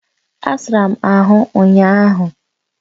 Asara m ahụ ụnyahụ